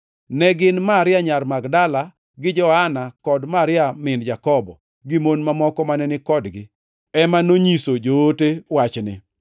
Ne gin Maria nyar Magdala, gi Joana kod Maria min Jakobo, gi mon moko mane ni kodgi, ema nonyiso joote wachni.